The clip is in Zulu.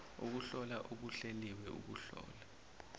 ukuhlola okuhleliwe ukuhlola